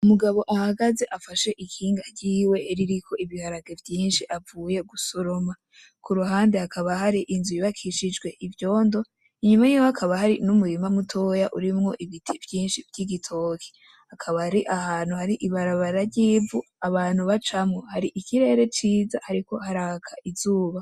Umugabo ahagaze afashe ikinga ryiwe ririko ibiharage vyinshi avuye gusoroma, ku ruhande hakaba hari inzu yubakishijwe ivyondo inyuma hakaba hari n'umurima mutoya urimwo ibiti vyinshi vy'igitoki akaba ari ahantu hari ibarabara ry'ivu abantu bacamwo hari ikirere ciza hariko haraka izuba.